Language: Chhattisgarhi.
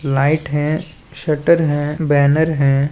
लाइट हैं स्वेटर है बैनर हैं ।